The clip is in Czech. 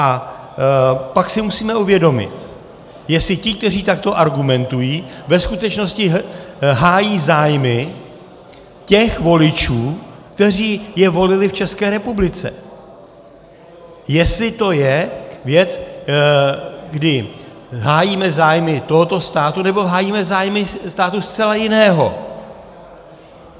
A pak si musíme uvědomit, jestli ti, kteří takto argumentují, ve skutečnosti hájí zájmy těch voličů, kteří je volili v České republice, jestli to je věc, kdy hájíme zájmy tohoto státu, nebo hájíme zájmy státu zcela jiného.